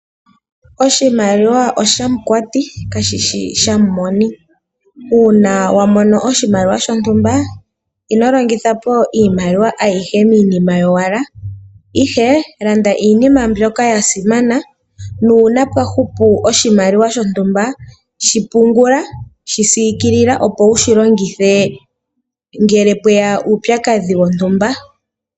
Oshimaliwa oshamukwati kashishi shamumoni. Uuna wamono oshimaliwa shontumba ino longitha po iimaliwa ayihe miinima yowala ihe landa iinima mbyoka yasimana, nuuna pwahupu oshimaliwa shontumba shipungula, shisiikilila opo wushilongithe ngele pweya uupyakadhi wontumba.